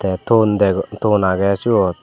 tey ton dego ton agey syot.